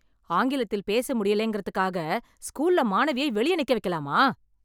ஆங்கிலத்தில் பேச முடியலைங்கறதுக்காக ஸ்கூல்ல மாணவியை வெளிய நிக்க வெக்கலாமா?